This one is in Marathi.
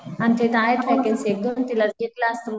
आमच्या इथं आहेत वॅकन्सी एक दोन तिला घेतलं असत.